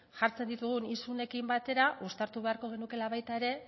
jartzen ditugun isunekin batera uztartu beharko genukeela baita ere